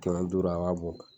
duuru a b'a bɔ.